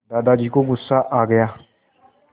दादाजी को गुस्सा आ गया